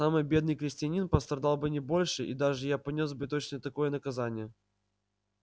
самый бедный крестьянин пострадал бы не больше и даже я понёс бы точно такое наказание